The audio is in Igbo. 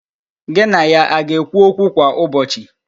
Gị na ya a ga-ekwu okwu kwa ụbọchị?